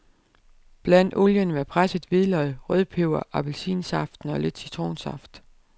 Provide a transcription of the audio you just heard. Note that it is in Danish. Bland olien med presset hvidløg, rødpeber, appelsinsaften og lidt citronsaft.